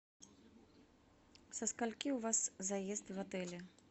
со скольки у вас заезд в отеле